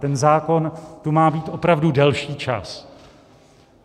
Ten zákon tu má být opravdu delší čas.